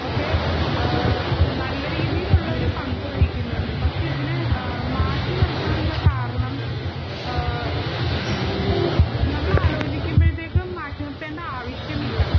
ഒക്കെ നല്ല രീതിയിലുള്ള ഒരു പങ്കു വഹിക്കുന്നുണ്ട് പക്ഷെ ഇതിനെ മാറ്റി നിർത്താനുള്ള കാരണം നമ്മൾ ആലോചിക്കുമ്പോഴേക്കും മാറ്റി നിർത്തേണ്ട ആവശ്യം ഇല്ല